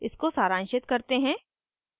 इसको सारांशित करते हैं: